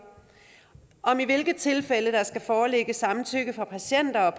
og om i hvilke tilfælde der skal foreligge samtykke fra patienter